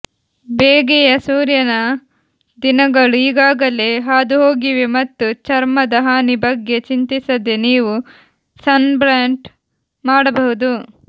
ಬೇಗೆಯ ಸೂರ್ಯನ ದಿನಗಳು ಈಗಾಗಲೇ ಹಾದುಹೋಗಿವೆ ಮತ್ತು ಚರ್ಮದ ಹಾನಿ ಬಗ್ಗೆ ಚಿಂತಿಸದೆ ನೀವು ಸನ್ಬ್ಯಾಟ್ ಮಾಡಬಹುದು